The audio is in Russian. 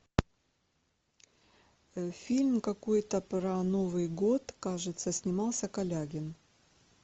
фильм какой то про новый год кажется снимался калягин